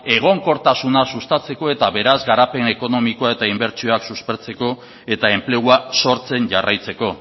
egonkortasuna sustatzeko eta beraz garapen ekonomikoa eta inbertsioak suspertzeko eta enplegua sortzen jarraitzeko